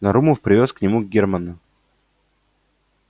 нарумов привёз к нему германна